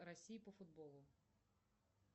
россии по футболу